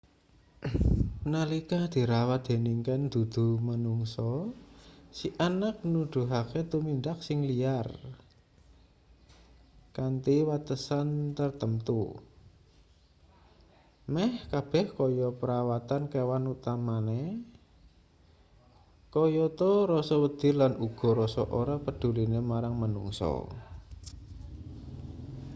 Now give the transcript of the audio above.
nalika dirawat dening kean dudu-manungsa si anak nuduhake tumindak sing liar kanthi watesan tartamtu meh kabeh kaya perawatan kewan utamane kayata rasa wedi lan uga rasa ora pedhuline marang manungsa